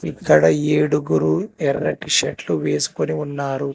ఇక్కడ ఏడుగురు ఎర్రటి షర్ట్లు వేసుకొని ఉన్నారు.